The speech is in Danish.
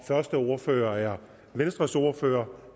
første ordfører er venstres ordfører